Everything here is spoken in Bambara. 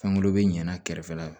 Fangelen be ɲana kɛrɛfɛla la